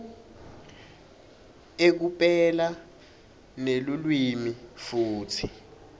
ekupela nelulwimi futsi